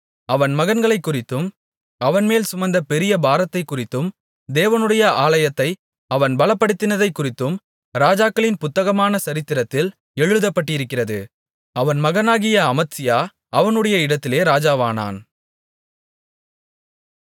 அவன் மகன்களைக்குறித்தும் அவன்மேல் சுமந்த பெரிய பாரத்தைக்குறித்தும் தேவனுடைய ஆலயத்தை அவன் பலப்படுத்தினதைக்குறித்தும் ராஜாக்களின் புத்தகமான சரித்திரத்தில் எழுதப்பட்டிருக்கிறது அவன் மகனாகிய அமத்சியா அவனுடைய இடத்திலே ராஜாவானான்